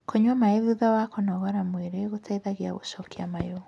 kũnyua maĩ thutha wa kũnogora mwĩrĩ gũteithagia gucokia mayu